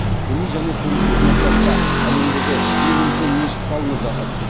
діни және туристік мақсатта әлемдегі ең үлкен мешіт салынып жатыр